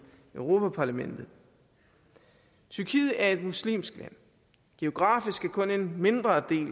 europa parlamentet tyrkiet er et muslimsk land geografisk er kun en mindre del